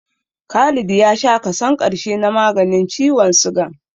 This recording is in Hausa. Khalid ya sha kason ƙarshe na maganin ciwon sugan